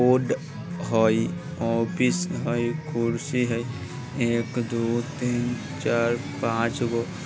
बोर्ड हई ऑफिस हई कुर्सी हई एक दो तीन चार पाँच गो |